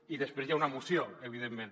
i després hi ha una moció evidentment